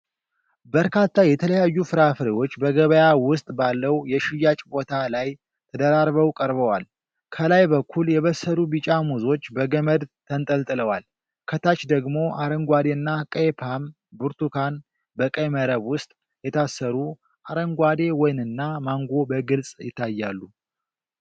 በርካታ የተለያዩ ፍራፍሬዎች በገበያ ውስጥ ባለው የሽያጭ ቦታ ላይ ተደራርበው ቀርበዋል። ከላይ በኩል የበሰሉ ቢጫ ሙዞች በገመድ ተንጠልጥለዋል። ከታች ደግሞ አረንጓዴና ቀይ ፖም፣ ብርቱካን (በቀይ መረብ ውስጥ የታሰሩ)፣ አረንጓዴ ወይንና ማንጎ በግልጽ ይታያሉ።